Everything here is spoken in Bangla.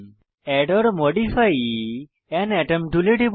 add or modify an atom টুলে টিপুন